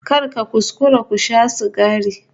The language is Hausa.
Kar ka kuskura ka sha sigari